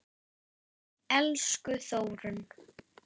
Magnús: Og maturinn góður?